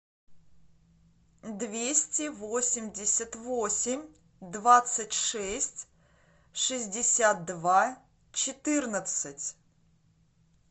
двести восемьдесят восемь двадцать шесть шестьдесят два четырнадцать